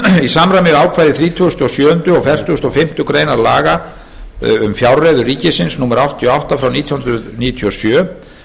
í samræmi við ákvæði þrítugustu og sjöunda og fertugasta og fimmtu grein laga um fjárreiður ríkisins númer áttatíu og átta nítján hundruð níutíu og sjö